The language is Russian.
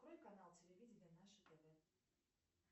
открой канал телевидения наше тв